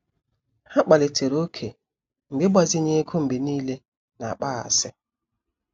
Ha kpalitere ókè mgbe ịgbazinye ego mgbe niile na-akpaghasị.